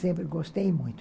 Sempre gostei muito.